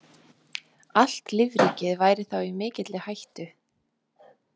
Allt lífríkið væri þá í mikilli hættu.